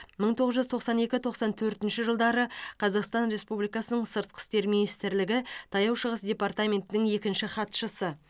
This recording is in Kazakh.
мың тоғыз жүз тоқсан екі тоқсан төртінші жылдары қазақстан республикасының сыртқы істер министрлігі таяу шығыс департаментінің екінші хатшысы